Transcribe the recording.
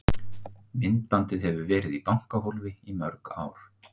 Myndbandið hefur verið í bankahólfi í mörg ár.